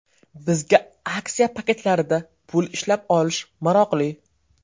Bizga aksiya paketlarida pul ishlab olish maroqli.